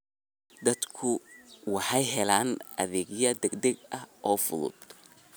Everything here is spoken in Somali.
Dadku waxay helaan adeegyo degdeg ah oo fudud.